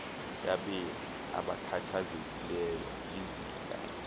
yabemi abakhathazekileyo lizinga